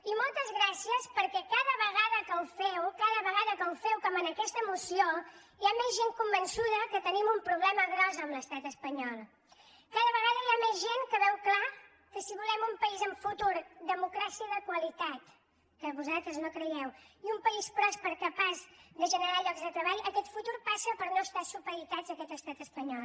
i moltes gràcies perquè cada vegada que ho feu cada vegada que ho feu com en aquesta moció hi ha més gent convençuda que tenim un problema gros amb l’estat espanyol cada vegada hi ha més gent que veu clar que si volem un país amb futur democràcia de qualitat que vosaltres no hi creieu i un país pròsper capaç de generar llocs de treball aquest futur passa per no estar supeditats a aquest estat espanyol